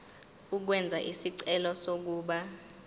ukwenza isicelo sokuba